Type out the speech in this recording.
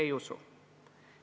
Ei usu!